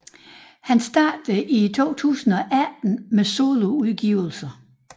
Han startede i 2018 med soloudgivelser